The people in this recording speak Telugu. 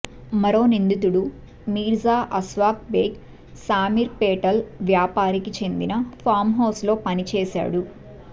మరో నిందితుడు మీర్జా అస్వాక్ బేగ్ శామీర్పేటల్ వ్యాపారికి చెందిన ఫామ్హౌస్లో పని చేశాడు